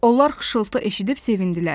Onlar xışıltı eşidib sevindilər.